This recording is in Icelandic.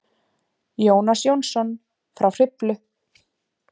Jónas Jónsson frá Hriflu.